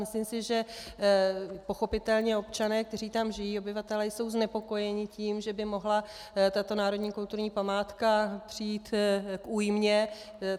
Myslím si, že pochopitelně občané, kteří tam žijí, obyvatelé, jsou znepokojeni tím, že by mohla tato národní kulturní památka přijít k újmě.